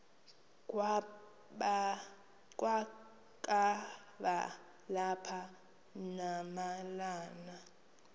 kwakaba lapha nemalana